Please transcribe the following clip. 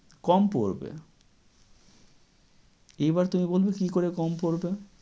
কম পড়বে। এবার তুমি বলবে কী করে কম পড়বে?